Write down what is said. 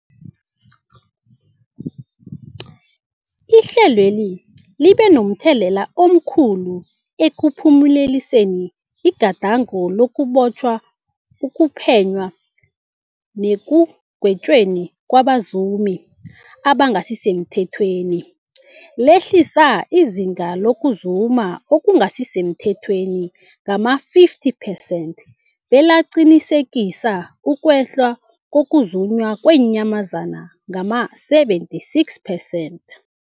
Ihlelweli libe momthelela omkhulu ekuphumeleliseni igadango lokubotjhwa, ukuphenywa nekugwetjweni kwabazumi abangasisemthethweni, lehlisa izinga lokuzuma okungasi semthethweni ngama-50 percent, belaqinisekisa ukwehla kokuzunywa kweenyamazana ngama-76 percent.